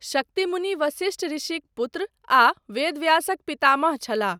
शक्तिमुनि वसिष्ठऋषिक पुत्र आ वेदव्यासक पितामह छलाह।